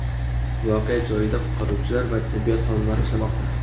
Voqea joyida qutqaruvchilar va tibbiyot xodimlari ishlamoqda.